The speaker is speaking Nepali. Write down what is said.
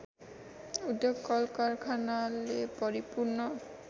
उद्योग कलकारखानाले भरिपूर्ण